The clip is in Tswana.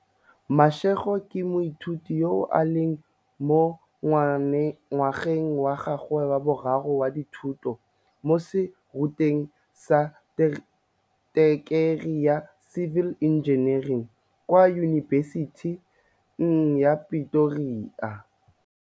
Mashego ke moithuti yo a leng mo ngwageng wa gagwe wa boraro wa dithuto mo serutweng sa tekerii ya civil engineering kwa Yunibesiting ya Pretoria.